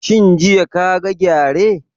Shin jiya ka ga gyare?